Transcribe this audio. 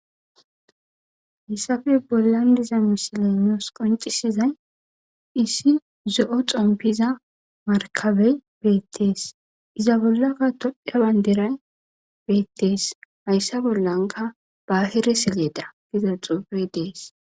Haysappe bolan dizza misiley nusi qoncisiza issi zo'o xonpizza marka ey bettes izza bolaka tophiya bandiray betes haysa bolankka bahire saleda giza xuffey dees